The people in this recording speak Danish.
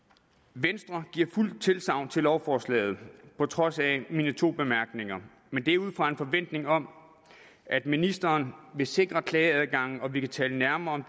venstre giver fuldt tilsagn til lovforslaget på trods af mine to bemærkninger men det er ud fra en forventning om at ministeren vil sikre klageadgangen og vi kan tale nærmere